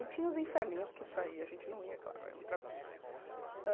E tinha os inferninhos que isso aí, a gente não ia, claro é outra coisa.